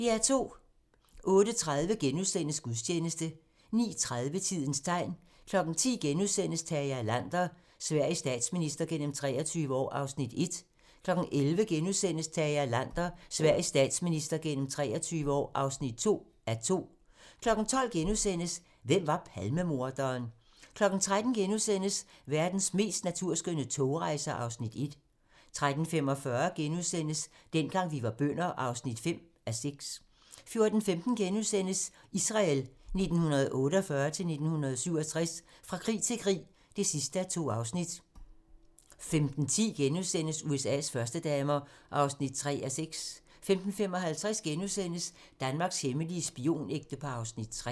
08:30: Gudstjeneste * 09:30: Tidens tegn 10:00: Tage Erlander - Sveriges statsminister gennem 23 år (1:2)* 11:00: Tage Erlander - Sveriges statsminister gennem 23 år (2:2)* 12:00: Hvem var Palmemorderen? * 13:00: Verdens mest naturskønne togrejser (Afs. 1)* 13:45: Dengang vi var bønder (5:6)* 14:15: Israel 1948-1967 - fra krig til krig (2:2)* 15:10: USA's førstedamer (3:6)* 15:55: Danmarks hemmelige spionægtepar (Afs. 3)*